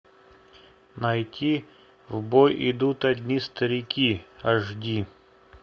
найти в бой идут одни старики аш ди